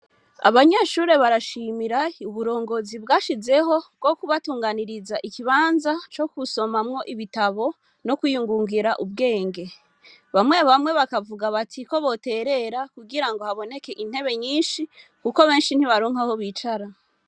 Abanyeshure barashimira uburongozi bwashizeho bwo kubatunganiriza ikibanza co kusomamwo ibitabo no kwiyungungira ubwenge bamwe abamwe bakavuga bati ko boterera kugira ngo haboneke intebe nyinshi, kuko benshi ntibaronkaho bicara.